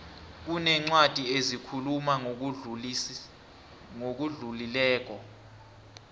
kunencwadi ezikhuluma ngokudlulileko